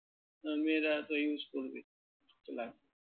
আহ মেয়েরা তো use করবেই তো লাগবেই।